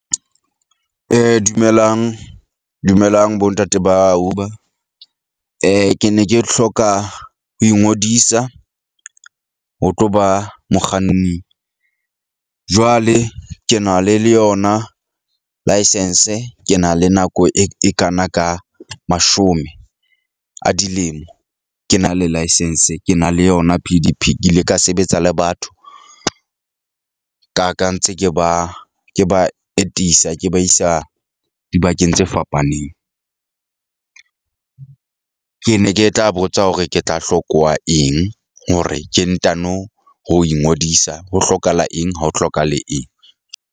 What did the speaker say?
Dumelang, dumelang bo ntate ba Uber , ke ne ke hloka ho ingodisa ho tlo ba mokganni. Jwale ke na le le yona license. Ke na le nako e kana ka mashome a dilemo ke na le license. Ke na le yona P_D_P. Ke ile ka sebetsa le batho ka ka ntse ke ba ke ba etisa. Ke ba isa dibakeng tse fapaneng . Ke ne ke tla botsa hore ke tla hlokuwa eng hore ke ntano ho ingodisa ho hlokahala eng ha ho hlokahale eng?